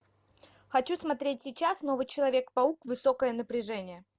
хочу смотреть сейчас новый человек паук высокое напряжение